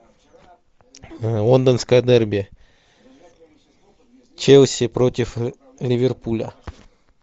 лондонское дерби челси против ливерпуля